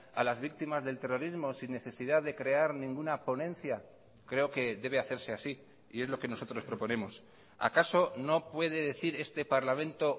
a las víctimas del terrorismo sin necesidad de crear ninguna ponencia creo que debe hacerse así y es lo que nosotros proponemos acaso no puede decir este parlamento